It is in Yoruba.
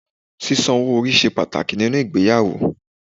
Sísan owó orí ṣe pàtàkì nínú ìgbéyàwó